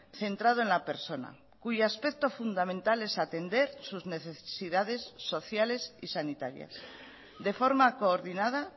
centrado en la persona cuyo aspecto fundamental es atender sus necesidades sociales y sanitarias de forma coordinada